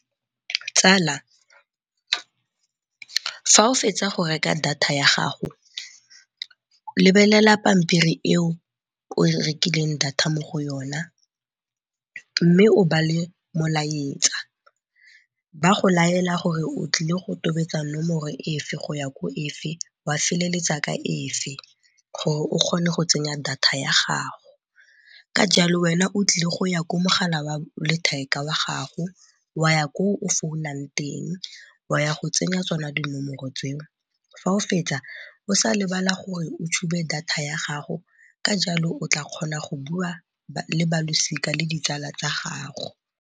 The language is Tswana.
Tsala fa o fetsa go reka data ya gago lebelela pampiri eo o rekileng data mo go yona mme o bale molaetsa, ba go laela gore o tlile go tobetsa nomoro efe go ya ko efe wa feleletsa ka efe gore o kgone go tsenya data ya gago. Ka jalo wena o tlile go ya ko mogala wa letheka wa gago wa ya ko o founang teng wa ya go tsenya tsona dinomoro tseo fa o fetsa o sa lebala gore o tshume data ya gago, ka jalo o tla kgona go bua le balosika le ditsala tsa gago.